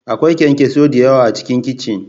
Akwai kyanksosai da yawa A cikin kicin.